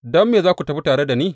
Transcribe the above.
Don me za ku tafi tare da ni?